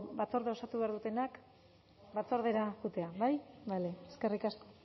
batzordea osatu behar dutenak batzordera joatea bai bale eskerrik asko